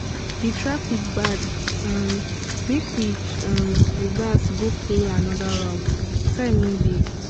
the traffic bad um make we um reverse go follow another route time no dey